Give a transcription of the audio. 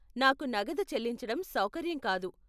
నాకు నగదు చెల్లించటం సౌకర్యం కాదు.